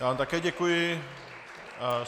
Já vám také děkuji.